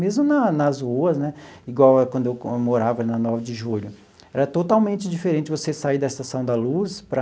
Mesmo na nas ruas né, igual quando eu morava na Nove de Julho, era totalmente diferente você sair da Estação da Luz para...